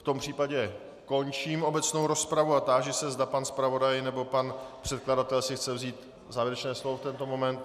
V tom případě končím obecnou rozpravu a táži se, zda pan zpravodaj nebo pan předkladatel si chce vzít závěrečné slovo v tento moment.